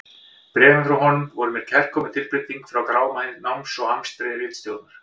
Bréfin frá honum voru mér kærkomin tilbreyting frá gráma náms og amstri ritstjórnar.